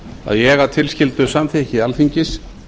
að ég að tilskildu samþykki alþingis